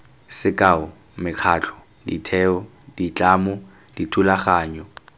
sekao mekgatlho ditheo ditlamo dithulaganyo